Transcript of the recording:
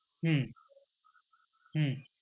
হম হম